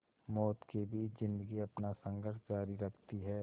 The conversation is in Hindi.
मौत के बीच ज़िंदगी अपना संघर्ष जारी रखती है